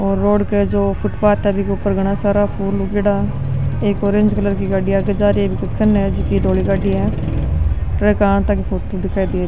और रोड पे जो फुटपात है बिके ऊपर घना सारा फूल उगेडा एक ऑरेंज कलर की गाड़ी जा रही --